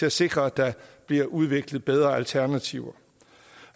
at sikre at der bliver udviklet bedre alternativer